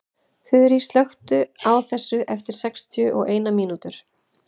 Þurý, slökktu á þessu eftir sextíu og eina mínútur.